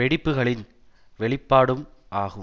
வெடிப்புக்களின் வெளிப்பாடும் ஆகும்